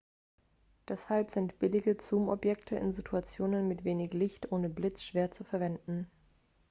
deshalb sind billige zoomobjektive in situationen mit wenig licht ohne blitz schwer zu verwenden